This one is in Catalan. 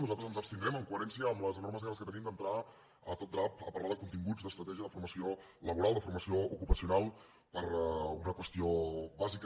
nosaltres ens abstindrem en coherència amb les enormes ganes que tenim d’entrar a tot drap a parlar de continguts d’estratègia de formació laboral de formació ocupacional per una qüestió bàsica